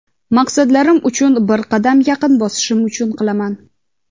maqsadlarim uchun bir qadam yaqin bosishim uchun qilaman.